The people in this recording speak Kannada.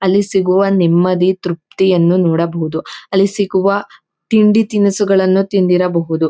ಅಲ್ಲಿ ಸಿಗುವ ನೆಮ್ಮದಿ ತೃಪ್ತಿಯನ್ನು ನೋಡಬಹುದು. ಅಲ್ಲಿ ಸಿಗುವ ತಿಂಡಿ ತಿನಿಸುಗಳನ್ನ ತಿಂದಿರಬಹುದು.